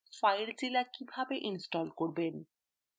filezilla কীভাবে install করবেন